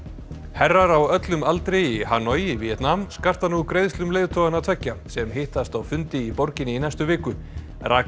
herrar á öllum aldri í Hanoi í Víetnam skarta nú greiðslum leiðtoganna tveggja sem hittast á fundi í borginni í næstu viku